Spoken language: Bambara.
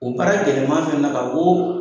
O baara gɛlɛman fɛnɛ na k'a fɔ koo